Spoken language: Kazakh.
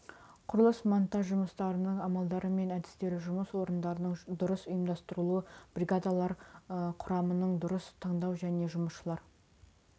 құрылыс монтаж жұмыстарының амалдары мен әдістері жұмыс орындарының дұрыс ұйымдастырылуы бригадалар құрамының дұрыс таңдау мен жұмысшылар